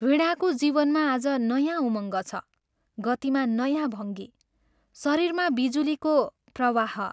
वीणाको जीवनमा आज नयाँ उमङ्ग छ, गतिमा नयाँ भङ्गी, शरीरमा बिजुलीको प्रवाह।